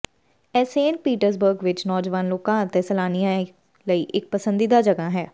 ਇਹ Saint Petersburg ਵਿਚ ਨੌਜਵਾਨ ਲੋਕਾਂ ਅਤੇ ਸੈਲਾਨੀਆਂ ਲਈ ਇਕ ਪਸੰਦੀਦਾ ਜਗ੍ਹਾ ਹੈ